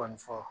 Kɔni fɔ